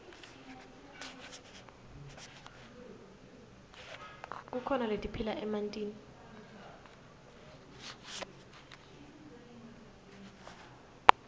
kukhona letiphila emantini